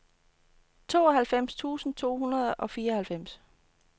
tooghalvfems tusind to hundrede og fireoghalvfems